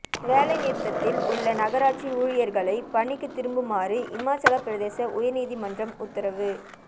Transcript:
வேலை நிறுத்தத்தில் உள்ள நகராட்சி ஊழியர்களை பணிக்கு திரும்புமாறு இமாச்சல பிரதேச உயர்நீதிமன்றம் உத்தரவு